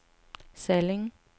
Salling